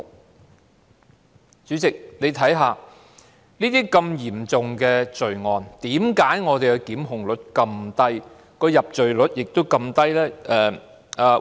代理主席，如此嚴重的罪案，為何檢控率這麼低、入罪率這麼低呢？